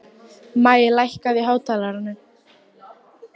Maj, lækkaðu í hátalaranum.